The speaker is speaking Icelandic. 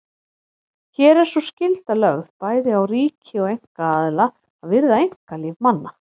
Hér er sú skylda lögð bæði á ríki og einkaaðila að virða einkalíf manna.